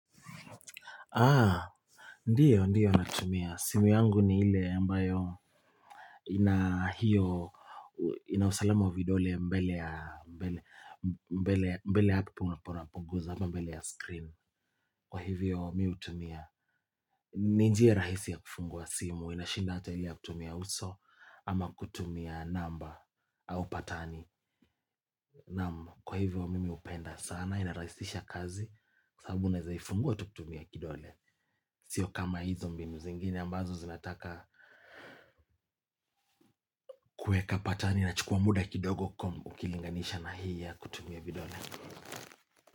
Ndio ndio natumia. Simu yangu ni ile ambayo inahiyo inausalama wa vidole mbele ya hapo unapoguza ama hapo mbele ya screen kwa hivyo mi hutumia. Ni njia rahisi ya kufungua simu. Inashinda hata ile ya kutumia uso ama kutumia namba au patani. Naam kwa hivyo mimi hupenda sana inarahisisha kazi kwa sababu unaezaifungua tu kutumia kidole sio kama hizo mbinu zingini ambazo zinataka kuweka patani inachukua muda kidogo ukilinganisha na hii ya kutumia vidole.